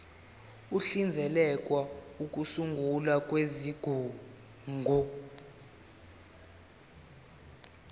uhlinzekela ukusungulwa kwezigungu